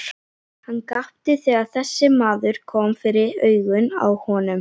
Hann gapti þegar þessi maður kom fyrir augun á honum.